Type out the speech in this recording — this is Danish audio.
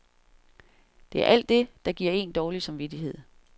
Det er alt det, der giver en dårlig samvittighed.